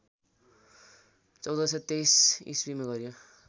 १४२३ इस्वीमा गरियो